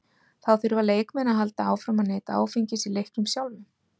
Þá þurfa leikmenn að halda áfram að neyta áfengis í leiknum sjálfum.